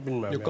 Yox, bilmirəm.